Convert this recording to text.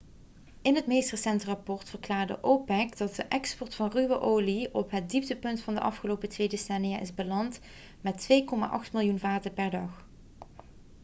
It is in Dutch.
in het meest recente rapport verklaarde opec dat de export van ruwe olie op het dieptepunt van de afgelopen twee decennia is beland met 2,8 miljoen vaten per dag